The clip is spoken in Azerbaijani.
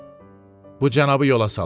bu cənabı yola salın.